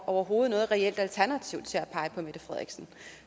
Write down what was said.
overhovedet noget reelt alternativ til at pege på mette frederiksen